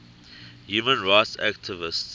human rights activists